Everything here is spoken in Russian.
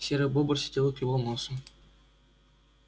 серый бобр сидел и клевал носом